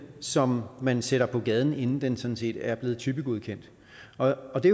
som man sætter på gaden inden den sådan set er blevet typegodkendt og det